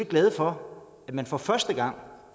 glade for at man for første gang